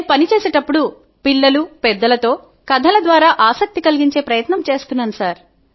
నేను పని చేసేప్పుడు పిల్లలు పెద్దలతో కథల ద్వారా ఆసక్తి కలిగించే ప్రయత్నం చేస్తున్నాను